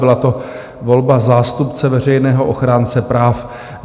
Byla to volba zástupce veřejného ochránce práv.